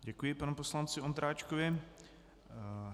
Děkuji panu poslanci Ondráčkovi.